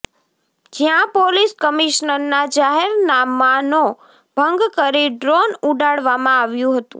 જ્યાં પોલીસ કમીશનરના જાહેર નામાનો ભંગ કરી ડ્રોન ઉડાડવામાં આવ્યું હતું